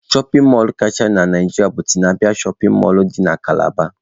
Shọpin mọlụ kachasị na Naijiria bụ Tinapa shọpin mọlụ dị na Kalaba.